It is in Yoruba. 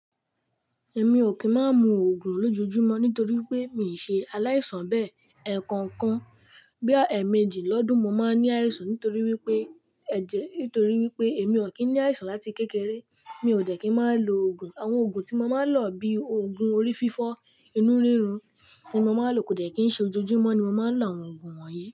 Èmi ò kí ń má mu òògùn lójojúmọ́ nítorí pé mi ṣe aláìsàn bẹ́ẹ̀. Ẹ̀ẹ̀kan kan bóyá ẹ̀ẹ̀mejì lọ́dún mo máa ń ní àìsàn nítorí wípé ẹ̀jẹ̀ nítorí wípé èmi ò kí ń ní àìsàn láti kékeré. Mi ò dẹ̀ kí ń má lo òògùn. Àwọn òògùn tí mo máa ń lò bíi òògùn orí fífọ́, inú rírun ní mo máa ń lo kò dẹ̀ kí ń ṣe ojojúmọ́ ni mo máa ń lo àwọn òògùn wọ̀nyí.